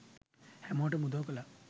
හැමෝටම උදව් කළා